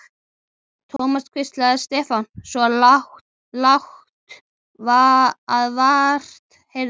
Thomas hvíslaði Stefán, svo lágt að vart heyrðist.